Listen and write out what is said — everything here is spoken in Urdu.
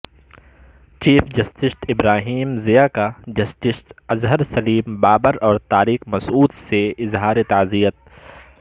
چیف جسٹس ابراہیم ضیاء کا جسٹس اظہر سلیم بابر اور طارق مسعود سے اظہار تعزیت